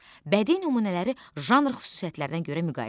Bədii nümunələri janr xüsusiyyətlərinə görə müqayisə et.